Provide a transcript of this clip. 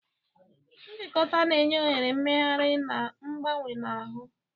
Njikọta na-enye ohere mmegharị na mgbanwe na ahụ.